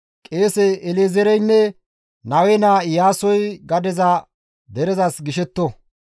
«Qeese El7ezeereynne Nawe naa Iyaasoy gadeza derezas gishetto.